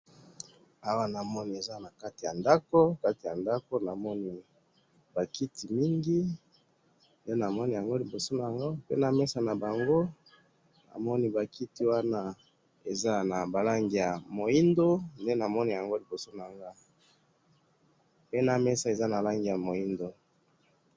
Awa namoni eza nakati yandako, Kati yandako namoni bakiti mini, ndenamoni yango liboso nanga, pe namesa naango